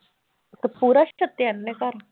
ਤੇ ਪੂਰਾ ਛੱਤਿਆ ਇਹਨਾਂ ਨੇ ਘਰ?